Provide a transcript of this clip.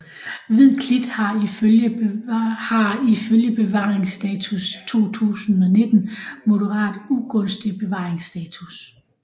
Hvid klit har i følge bevaringsstatus 2019 moderat ugunstig bevaringsstatus